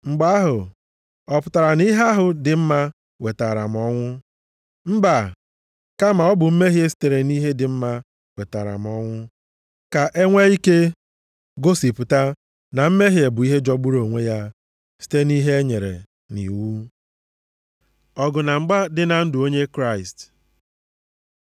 Mgbe ahụ, ọ pụtara na ihe ahụ dị mma wetaara m ọnwụ? Mba! Kama ọ bụ mmehie sitere nʼihe dị mma wetara m ọnwụ, ka e nwee ike gosipụta na mmehie bụ ihe jọgburu onwe ya site nʼihe e nyere nʼiwu. Ọgụ na mgba dị na ndụ onye Kraịst